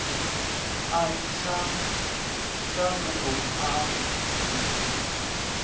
a tshanḓnguvhoni a a ḓidzhenisa